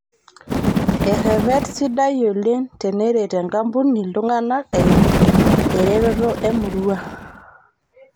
Errepet sidai oleng' teneret enkampuni iltung'ana eimu eretoto emurua